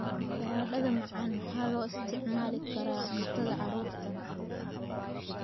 Baradhada macaan waxaa loo isticmaali karaa cuntada carruurta.